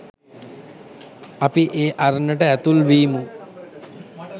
අපි ඒ අරණට ඇතුළු වීමු